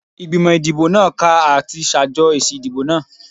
Igbimọ idibo naa ka ati ṣajọ esi idibo naa